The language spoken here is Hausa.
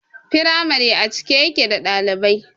Firamare a cike yake da ɗalibai